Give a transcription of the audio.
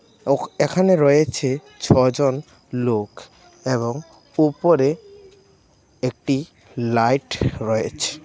ও-এখানে রয়েছে ছ জন লোক এবং উপরে একটি লাইট রয়েছে .